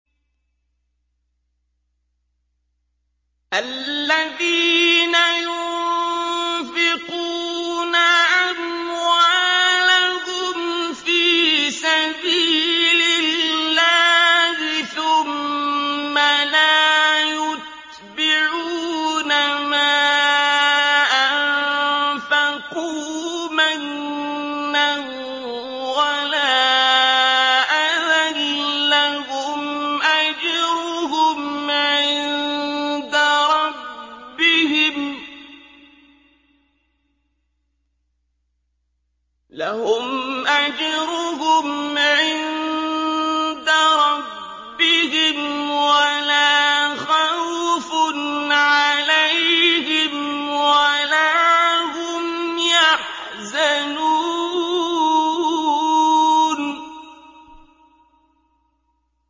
الَّذِينَ يُنفِقُونَ أَمْوَالَهُمْ فِي سَبِيلِ اللَّهِ ثُمَّ لَا يُتْبِعُونَ مَا أَنفَقُوا مَنًّا وَلَا أَذًى ۙ لَّهُمْ أَجْرُهُمْ عِندَ رَبِّهِمْ وَلَا خَوْفٌ عَلَيْهِمْ وَلَا هُمْ يَحْزَنُونَ